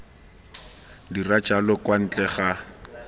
dira jalo kwa ntle ga